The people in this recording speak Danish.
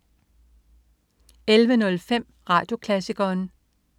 11.05 Radioklassikeren